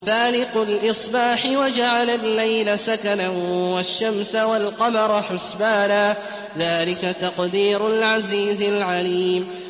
فَالِقُ الْإِصْبَاحِ وَجَعَلَ اللَّيْلَ سَكَنًا وَالشَّمْسَ وَالْقَمَرَ حُسْبَانًا ۚ ذَٰلِكَ تَقْدِيرُ الْعَزِيزِ الْعَلِيمِ